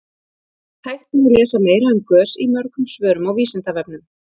hægt er að lesa meira um gös í mörgum svörum á vísindavefnum